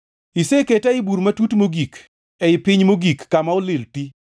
Iseketa ei bur matut mogik, ei piny mogik, kama olil ti.